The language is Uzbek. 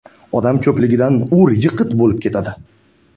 Odam ko‘pligidan ur-yiqit bo‘lib ketadi.